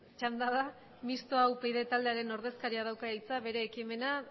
txanda da mistoa upyd taldearen ordezkariak dauka hitza bere ekimena